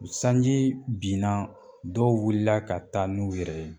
Sanji binna dɔw wulila ka taa n'u yɛrɛ ye